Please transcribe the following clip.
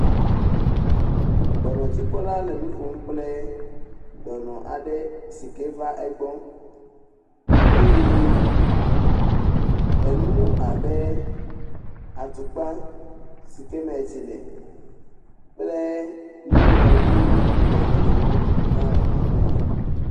Dɔnɔdzikpɔla le nu ƒom kple dɔnɔ aɖe si ke va egbɔ eye enu abe atukpa si ke me tsi le kple nuŋlɔɖiwo le gli ŋu le teƒe ma.